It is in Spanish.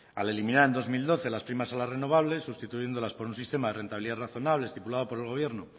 al eliminar en dos mil doce las primas a las renovables sustituyéndolas por un sistema de rentabilidad razonable estipulado por el gobierno